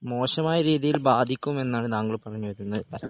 മോശമായരീതിയിൽ ബാധിക്കുമെന്നാണ്‌ താങ്കൾ പറഞ്ഞുവരുന്നത്